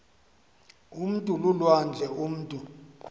umntu lulwandle umutu